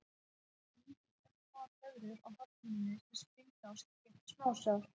Þá myndast örsmáar blöðrur á hornhimnunni sem springa og skilja eftir smásár.